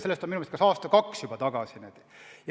Sellest on minu meelest aasta-kaks juba möödas.